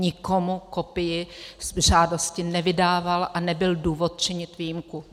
Nikomu kopii žádosti nevydával a nebyl důvod činit výjimku.